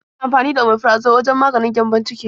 Ana amfani da Omeprazole wajen maganin gyambon ciki.